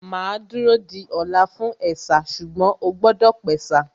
Màá dúró di ọ̀la fún ẹ̀sà ṣùgbọ́n ó gbọ́dọ̀ pẹ̀sà